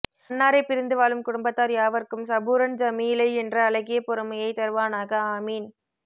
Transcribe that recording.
அன்னாரை பிரிந்து வாழும் குடும்பத்தார் யாவர்க்கும் சபூரன் ஜமீலை என்ற அழகிய பொறுமையை தருவானாக ஆமீன்